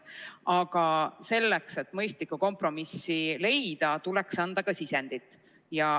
Aga selleks, et mõistlikku kompromissi leida, tuleks anda ka sisendit.